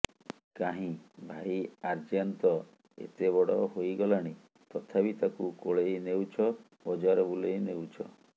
କାହିଁ ଭାଇ ଆର୍ୟାନ ତ ଏତେ ବଡ ହୋଇଗଲା ଣି ତଥାପି ତାକୁ କୋଳେଇ ନେଉଛ ବଜାର ବୁଲେଇ ନେଉଛ